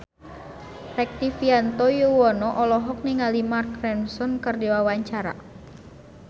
Rektivianto Yoewono olohok ningali Mark Ronson keur diwawancara